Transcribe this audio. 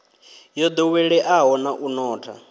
yo ḓoweleaho na u notha